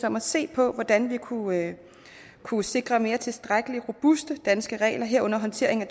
om at se på hvordan vi kunne kunne sikre tilstrækkelig robuste danske regler herunder håndtering af